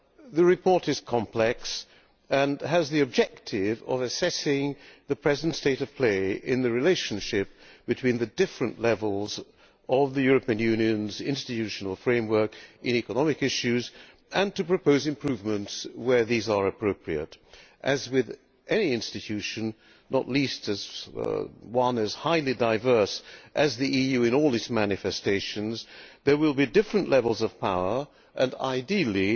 The report is complex and has the objective of assessing the present state of play in the relationship between the different levels of the European Union's institutional framework in economic issues and proposing improvements where these are appropriate. As with any institution not least one as highly diverse as the EU in all its manifestations there will be different levels of power and ideally